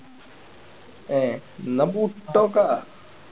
ഏഹ് എന്നാ